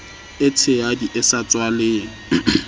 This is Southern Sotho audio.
e tshehadi e sa tswaleng